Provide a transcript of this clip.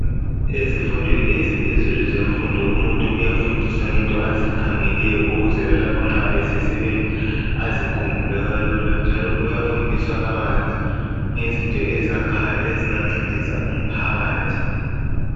ezifundweni eziphezulu zemfundo umuntu uyafundiswa ngento azikhangele ukuze lalapho nxa esesebenza azikhumbule kalula njalo uyafundiswa kabanzi ngezinto ezakhayo ezingancedisa umphakathi